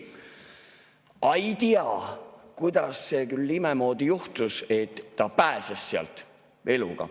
Aga ei tea, kuidas see küll imemoodi juhtus, et ta pääses sealt eluga.